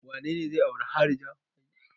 Wane ne zai auri harija?